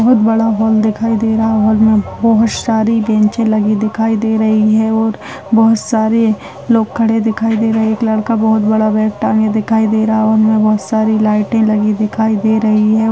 बहुत बड़ा हॉल दिखाई दे रहा है और हॉल में बहुत सारी बेचें लगी दिखाई दे रही है और बहुत सारे लोग खड़े दिखाई दे रहा है एक लड़का बहुत बड़ा बैग टांगे दिखाई दे रहा है हॉल में बहुत सारी लाइट दिखाई दे रही है।